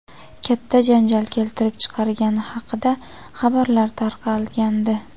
katta janjal keltirib chiqargani haqida xabarlar tarqalgandi.